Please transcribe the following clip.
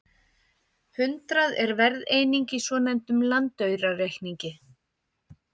Hundrað er verðeining í svonefndum landaurareikningi.